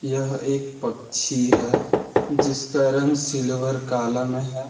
यह एक पक्षी है जिसका रंग सिल्वर काला में है।